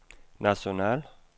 national